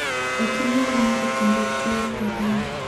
okinyal winjo kendo tuwo korona